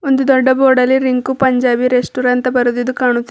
ಒಂದು ದೊಡ್ಡ ಬೋರ್ಡಲ್ಲಿ ರಿಂಕು ಪಂಜಾಬಿ ರೆಸ್ಟೋರೆಂಟ್ ಅಂತ ಬರ್ದಿದು ಕಾಣು--